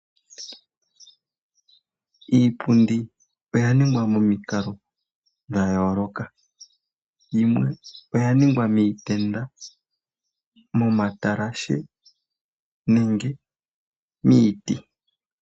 Iipundi oya ningwa momikalo dha yooloka. Yimwe oya ningwa miitenda, moma talashe nenge miiti.